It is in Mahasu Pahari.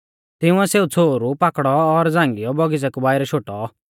तिंउऐ सेऊ छ़ोहरु पाकड़ौ और झ़ांगियौ बौगिच़ै कु बाइरै शोटौ